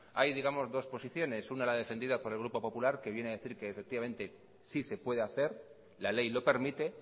hay digamos dos posiciones una la defendida por el grupo popular que viene a decir que efectivamente sí se puede hacer la ley lo permite